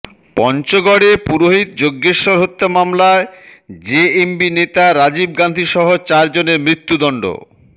পঞ্চগড়ে পুরোহিত যজ্ঞেশ্বর হত্যা মামলায় জেএমবি নেতা রাজীব গান্ধীসহ চারজনের মৃত্যুদণ্ড